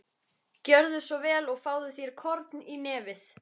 Gjörðu svo vel og fáðu þér korn í nefið.